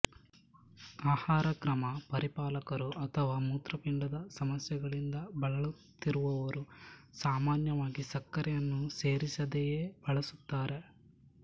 ಆಹಾರಕ್ರಮ ಪರಿಪಾಲಕರು ಅಥವಾ ಮೂತ್ರಪಿಂಡದ ಸಮಸ್ಯೆಗಳಿಂದ ಬಳಲುತ್ತಿರುವವರುಸಾಮಾನ್ಯವಾಗಿ ಸಕ್ಕರೆಯನ್ನು ಸೇರಿಸದೆಯೇ ಬಳಸುತ್ತಾರೆ